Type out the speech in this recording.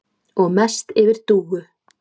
Og mest yfir Dúu.